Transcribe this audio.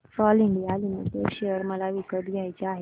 Castrol India limited share मला विकत घ्यायचे आहेत